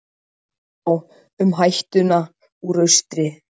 Hvað þá um hættuna úr austri?